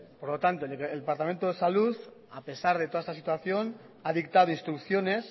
por lo tanto el departamento de salud a pesar de toda esta situación ha dictado instrucciones